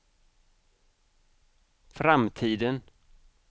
framtiden